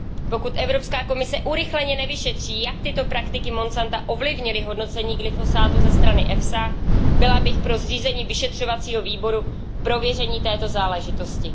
Pokud Evropská komise urychleně nevyšetří, jak tyto praktiky Monsanta ovlivnily hodnocení glyfosátu ze strany EFSA, byla bych pro zřízení vyšetřovacího výboru k prověření této záležitosti.